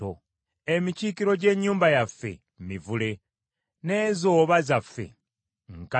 Emikiikiro gy’ennyumba yaffe mivule, n’enzooba zaffe nkanaga.